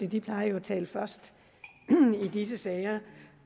de plejer jo at tale først i disse sager